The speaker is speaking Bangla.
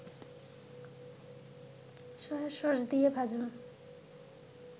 সয়াসস দিয়ে ভাজুন